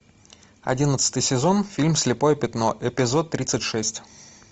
одиннадцатый сезон фильм слепое пятно эпизод тридцать шесть